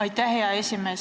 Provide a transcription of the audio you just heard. Aitäh, hea esimees!